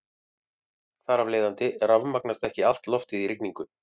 Þar af leiðandi rafmagnast ekki allt loftið í rigningu.